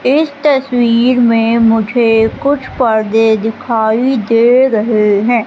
इस तस्वीर में मुझे कुछ पर्दे दिखाई दे रहे हैं।